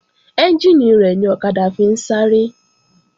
Ẹ́njìnì rẹ̀ ni ọ̀kadà fi ń sáré